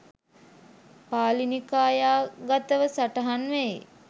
පාලි නිකායාගතව සටහන් වෙයි.